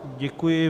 Děkuji.